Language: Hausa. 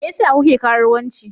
Me yasa kuke karuwanci?